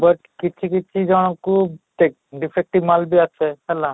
but କିଛି କିଛି ଜଣକୁ ଦେଖ defective ମାଲ ବି ଆସେ ହେଲା